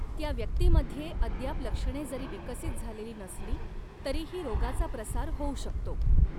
त्या व्यक्तीमध्ये अद्याप लक्षणे जरी विकसित झालेली नसली, तरीही रोगाचा प्रसार होऊ शकतो.